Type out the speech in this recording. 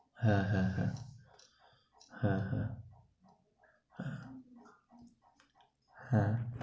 হ্যাঁ হ্যাঁ হ্যাঁ, হ্যাঁ হ্যাঁ। হ্যাঁ